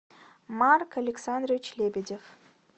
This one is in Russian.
марк александрович лебедев